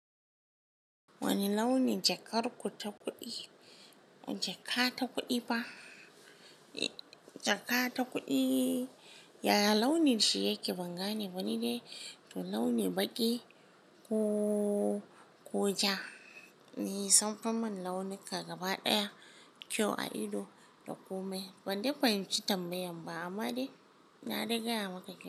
Wani launi jakar ku ta kuɗi? Jaka ta kuɗi ba. Jaka ta kuɗi, yaya launin shi yake ban gane ba ni dai, to launi baƙi ko, ko ja. Ni sam fa man launika gaba ɗaya kyau a ido da kome. Ban dai fahimci tambayan ba amma dai na riga ya maka kyau.